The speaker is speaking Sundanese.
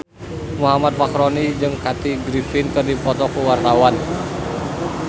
Muhammad Fachroni jeung Kathy Griffin keur dipoto ku wartawan